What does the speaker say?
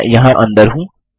मैं यहाँ अंदर हूँ